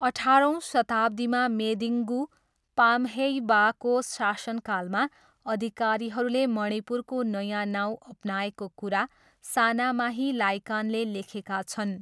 अठारौँ शताब्दीमा मेदिङ्गू पाम्हेइबाको शासनकालमा अधिकारीहरूले मणिपुरको नयाँ नाउँ अपनाएको कुरा सानामाही लाइकानले लेखेका छन्।